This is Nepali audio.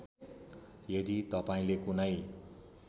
यदि तपाईँले कुनै